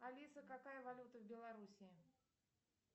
алиса какая валюта в белоруссии